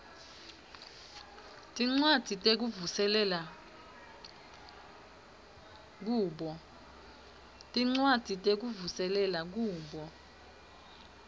tincwadzi tekuvuselela kubo